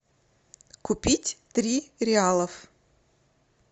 купить три реалов